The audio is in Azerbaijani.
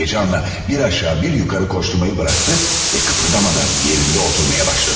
Həyəcanla bir aşağı bir yuxarı qaçmağı buraxdı və qıpırdamadan yerində oturmağa başladı.